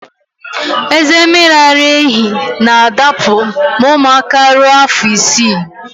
Eze mmiri ara ehi na adapụ ma ụmụaka ruo afọ isii